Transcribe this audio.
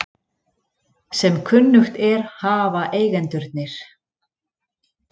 Sem kunnugt er hafa eigendurnir